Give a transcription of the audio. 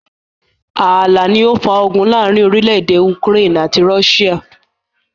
Ààlà ni ó ó fà ogun láàrín orílédé Ukraine àti Russia.